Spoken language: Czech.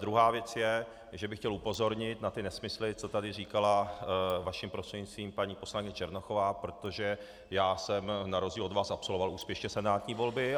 Druhá věc je, že bych chtěl upozornit na ty nesmysly, co tady říkala, vaším prostřednictvím, paní poslankyně Černochová, protože já jsem na rozdíl od vás absolvoval úspěšně senátní volby.